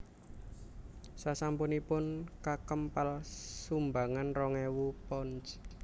Sasampunipun kakempal sumbangan rong ewu pounds